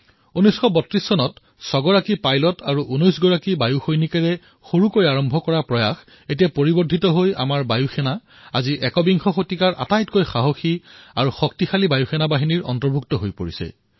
১৯৩২ চনত ছয়জন পাইলট আৰু ১৯ বায়ু সৈনিকৰ এটা সৰু আৰম্ভণিৰে সৈতে আমাৰ বায়ুসেনা আজি একবিংশ শতিকাৰ সকলোতকৈ সাহসী আৰু শক্তিশালী বায়ুসেনাৰ ৰূপে চিহ্নিত হৈছে